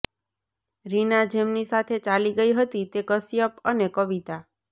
રીના જેમની સાથે ચાલી ગઈ હતી તે કશ્યપ અને કવિતા